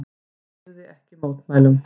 Hann hreyfði ekki mótmælum.